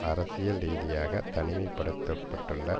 அரசியல் ரீதியாக தனிமைப்படுத்தப்பட்டுள்ள